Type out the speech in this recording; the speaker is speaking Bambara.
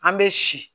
An bɛ si